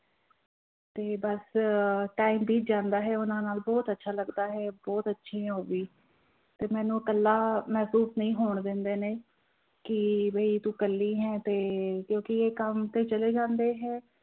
ਤੇ ਬਸ time ਬੀਤ ਜਾਂਦਾ ਹੈ ਉਹਨਾਂ ਨਾਲ ਬਹੁਤ ਅੱਛਾ ਲੱਗਦਾ ਹੈ, ਬਹੁਤ ਅੱਛੀ ਹੈ ਉਹ ਵੀ, ਤੇ ਮੈਨੂੰ ਇਕੱਲਾ ਮਹਿਸੂਸ ਨਹੀਂ ਹੋਣ ਦਿੰਦੇ ਨੇ, ਕਿ ਵੀ ਤੂੰ ਇਕੱਲੀ ਹੈ ਤੇ ਕਿਉਂਕਿ ਇਹ ਕੰਮ ਤੇ ਚਲੇ ਜਾਂਦੇ ਹੈ